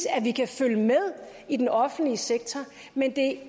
at vi kan følge med i den offentlige sektor men det